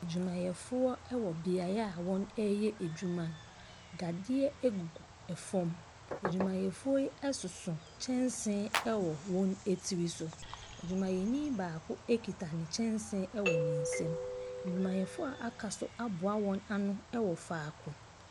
Adwumafoɔ wɔ beaeɛ a wɔyɛ adwuma no, dadeɛ gugu fam. Adwumayɛfoɔ yi soso kyɛnse wɔ wɔn tiri so, adwmayɛni baako kita ne kyɛnse wɔ ne nsam. Adwumayɛfoɔ a aka nso aboa wɔn ano wɔ faako.